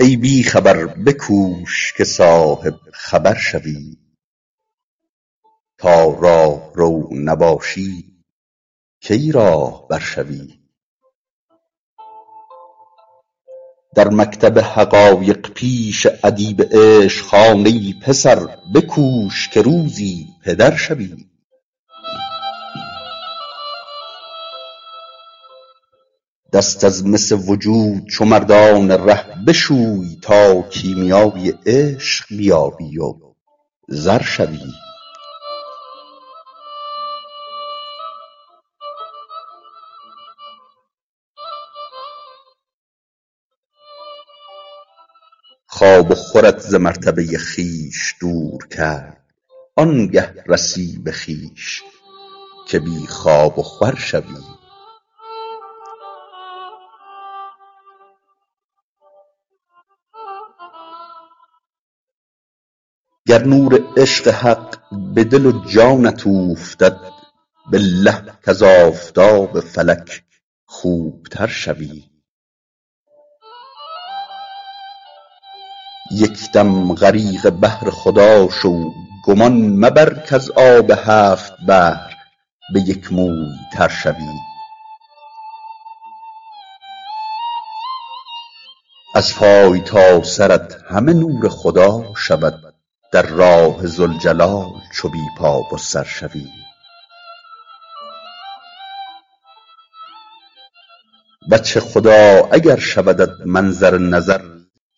ای بی خبر بکوش که صاحب خبر شوی تا راهرو نباشی کی راهبر شوی در مکتب حقایق پیش ادیب عشق هان ای پسر بکوش که روزی پدر شوی دست از مس وجود چو مردان ره بشوی تا کیمیای عشق بیابی و زر شوی خواب و خورت ز مرتبه خویش دور کرد آن گه رسی به خویش که بی خواب و خور شوی گر نور عشق حق به دل و جانت اوفتد بالله کز آفتاب فلک خوب تر شوی یک دم غریق بحر خدا شو گمان مبر کز آب هفت بحر به یک موی تر شوی از پای تا سرت همه نور خدا شود در راه ذوالجلال چو بی پا و سر شوی وجه خدا اگر شودت منظر نظر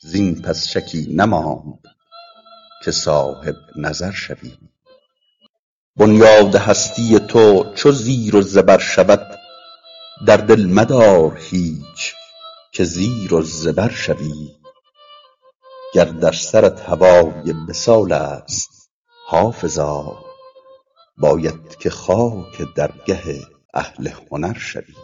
زین پس شکی نماند که صاحب نظر شوی بنیاد هستی تو چو زیر و زبر شود در دل مدار هیچ که زیر و زبر شوی گر در سرت هوای وصال است حافظا باید که خاک درگه اهل هنر شوی